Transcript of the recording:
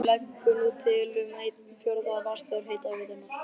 Hún leggur nú til um einn fjórða af vatnsþörf hitaveitunnar.